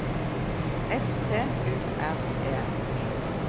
S T U R E